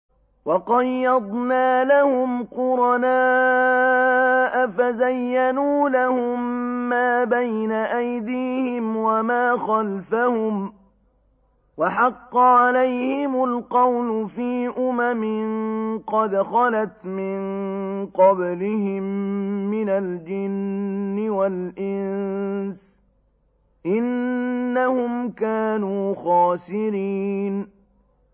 ۞ وَقَيَّضْنَا لَهُمْ قُرَنَاءَ فَزَيَّنُوا لَهُم مَّا بَيْنَ أَيْدِيهِمْ وَمَا خَلْفَهُمْ وَحَقَّ عَلَيْهِمُ الْقَوْلُ فِي أُمَمٍ قَدْ خَلَتْ مِن قَبْلِهِم مِّنَ الْجِنِّ وَالْإِنسِ ۖ إِنَّهُمْ كَانُوا خَاسِرِينَ